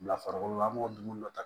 Bila farabolo an b'o dun dɔ ta